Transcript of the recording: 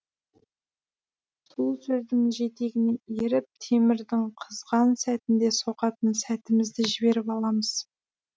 сол сөздің жетегіне еріп темірдің қызған сәтінде соғатын сәтімізді жіберіп аламыз